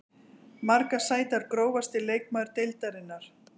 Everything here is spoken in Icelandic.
Margar sætar Grófasti leikmaður deildarinnar?